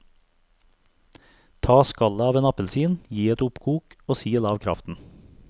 Ta skallet av en appelsin, gi et oppkok og sil av kraften.